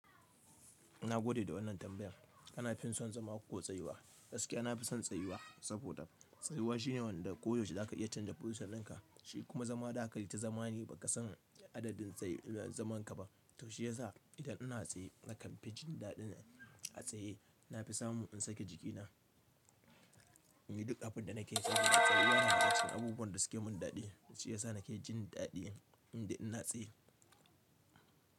Ilna gode da wannan tambayan. Kana fin son zama ko tsayuwa? Gaskiya nafi son tsayuwa saboda tsayuwa shine wanda ko yaushe zaka iya canza position ɗinka shi kuma zama zakaita zama ne baka san adadin zamanka ba to shiyasa idan ina tsaye nakan fi jindaɗi atsaye nafi samu in sake jikina inyi duk abinda nakeso. Tsayuwa na saga cikin abubuwan da suke mun daɗi, shiyasa nake jin daɗi idan ina tsaye.